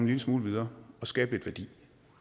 lille smule videre og skabe lidt værdi